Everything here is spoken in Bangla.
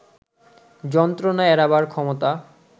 যন্ত্রণা এড়াবার ক্ষমতা